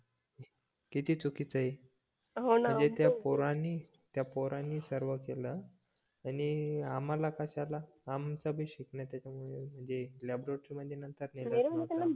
किती चुकीचे ए म्हणजे त्या पोरांनी पोरांनी सर्व केलं आणि आम्हाला कशाला आमचं बी शिकणं त्याच्या मुले म्हणजे ते लॅबोरेटरी मध्ये नेलच नाही